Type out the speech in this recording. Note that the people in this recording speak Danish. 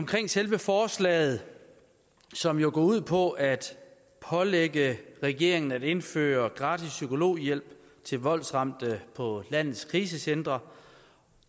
til selve forslaget som jo går ud på at pålægge regeringen at indføre gratis psykologhjælp til voldsramte på landets krisecentre